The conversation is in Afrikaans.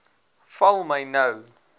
val my nou